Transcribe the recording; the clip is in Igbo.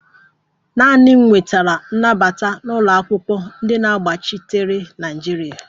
Naanị m nwetara nnabata n'ụlọakwụkwọ ndi na-agbachitere naịjirịa